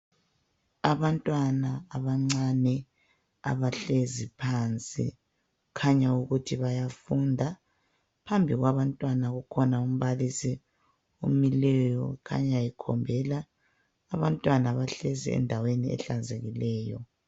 Abantwana abancane abahlezi phansi, kukhanya ukuthi bayafunda. Phambili kwabantwana ukhona umbalisi omileyo kukhanya ekhombela. Abantwana bahle endaweni ehlanzekileyo.